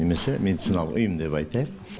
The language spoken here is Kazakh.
немесе медициналық ұйым деп айтайық